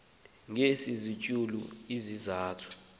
ngezi ntsuku zintathu